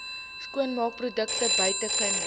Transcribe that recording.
skoonmaakprodukte buite kinders